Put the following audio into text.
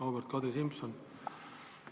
Auväärt Kadri Simson!